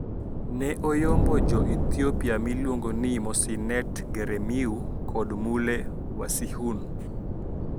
Ne oyombo jo Ethiopia miluongo ni Mosinet Geremew kod Mule Wasihun